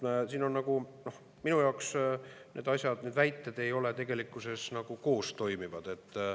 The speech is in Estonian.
Minu jaoks need asjad, need väited ei ole tegelikkuses nagu koostoimivad.